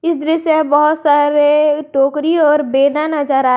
इस दृश्य में बहुत टोकरी और बेना नजर आ--